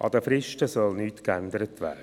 An den Fristen soll nichts verändert werden.